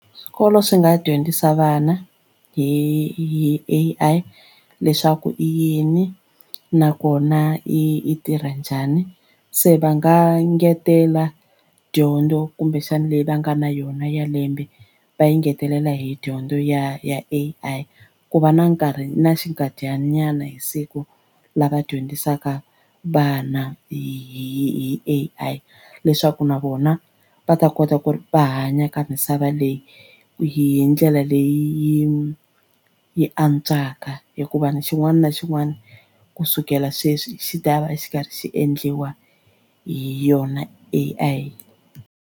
Swikolo swi nga dyondzisa vana hi A_I leswaku i yini nakona i tirha njhani se va nga ngetela dyondzo kumbexana leyi va nga na yona ya lembe va yi ngetelela hi dyondzo ya ya A_I ku va na nkarhi na xinkadyananyana hi siku lava dyondzisaka vana hi A_I leswaku na vona va ta kota ku ri va hanya ka misava leyi hi ndlela leyi yi antswaka hikuva xin'wana na xin'wana kusukela sweswi xi ta va xi karhi xi endliwa hi yona A_I.